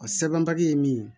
Ɔ sɛbɛn papiye ye min ye